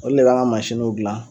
Olu de b'an ka gilan